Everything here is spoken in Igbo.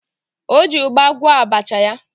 O ji ụgba gwọọ abacha ya.